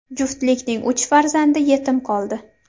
Juftlikning uch farzandi yetim qoldi.